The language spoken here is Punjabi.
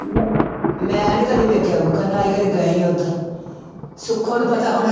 ਮੈਂ ਨੀ ਕਦੇ ਵੇਖਿਆ ਵੂਖਿਆ ਨਾ ਹੀ ਕਦੇ ਗਏ ਉੱਧਰ, ਸੁੱਖੋ ਨੂੰ ਪਤਾ ਹੋਣਾ।